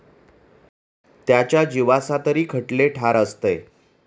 त्याच्या जीवासातरी खटले ठार असतंय.